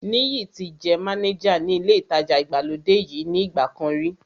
Níyì ti jẹ́ mánéjà ní ilé ìtajà ìgbàlódé yìí ní ìgbà kan rí